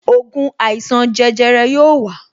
Ògùn àìsàn jẹjẹrẹ yóò wa